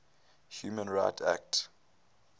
human rights act